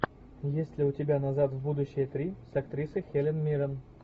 есть ли у тебя назад в будущее три с актрисой хелен миррен